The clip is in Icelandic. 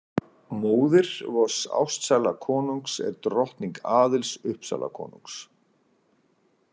Móðir vors ástsæla konungs er drottning Aðils Uppsalakonungs.